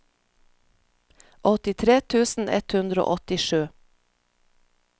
åttitre tusen ett hundre og åttisju